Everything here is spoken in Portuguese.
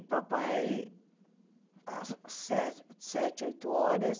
E papai, às sete, sete oito horas,